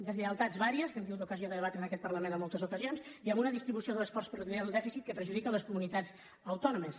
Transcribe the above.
deslleialtats diverses que hem tingut ocasió de debatre en aquest parlament en moltes ocasions i amb una distribució de l’esforç per reduir el dèficit que perjudica les comunitats autònomes